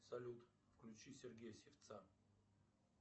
салют включи сергея сивца